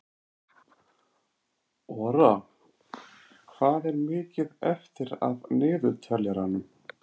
Ora, hvað er mikið eftir af niðurteljaranum?